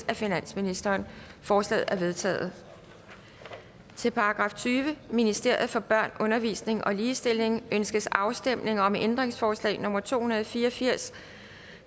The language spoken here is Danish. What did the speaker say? af finansministeren forslagene er vedtaget til § tyvende ministeriet for børn undervisning og ligestilling ønskes afstemning om ændringsforslag nummer to hundrede og fire og firs